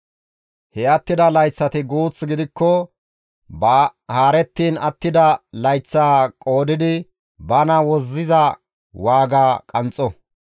He attida layththati guuth gidikko ba haarettiin attida layththaa qoodidi bana wozziza waaga qanxxo.